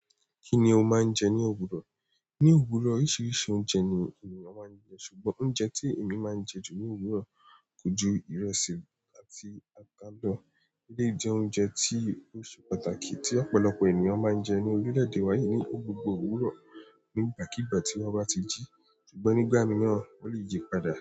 Kí ni o máa ń jẹ ní òwúrọ̀? Ní òwúrọ̀, oríṣiríṣi oúnjẹ ni ènìyàn máa ń jẹ ṣùgbọ́n oúnjẹ tí èmi máa ń jẹ jù ní òwúrọ̀ kò ju ìrẹsì àti àkàda eléyìí jẹ́ oúnjẹ tí o ṣe pàtàkì tí ọ̀pọ̀lọpọ̀ ènìyàn máa ń jẹ ní orílẹ̀ èdè wa ni gbogbo òwúrọ̀ ni ìgbàkígbà tí wọ́n bá ti jí, sugbo nígbà míràn o lè yí padà.